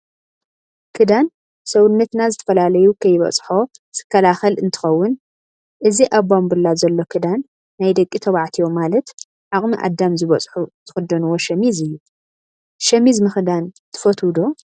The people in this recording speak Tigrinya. ክዳን ሰውነትና ዝተፈላለዩ ከይበፅሖዝከላከል እንትከውን እዚ ኣብ ማንቡላ ዘሎ ክዳን ናይ ደቂ ተባዕትዮ ማለት ኣቅሚ ኣዳም ዝበፅሑ ዝክደንዎ ሸሚዝ እዩ። ሸሚዝም ምክዳይ ትፈትው ዶ?